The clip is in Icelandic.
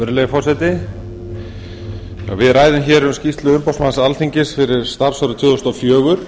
virðulegi forseti við ræðum hér um skýrslu umboðsmanns alþingis fyrir starfsárið tvö þúsund og fjögur